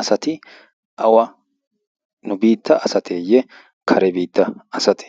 asati awa nu biitta asateeyye kare biitta asati